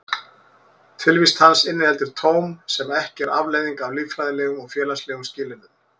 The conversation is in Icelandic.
Tilvist hans inniheldur tóm sem ekki er afleiðing af líffræðilegum og félagslegum skilyrðum.